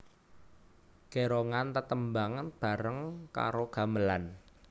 Gérongan tetembangan bareng karo gamelan